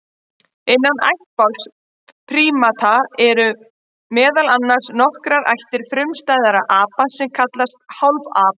Innan ættbálks prímata eru meðal annars nokkrar ættir frumstæðra apa sem kallast hálfapar.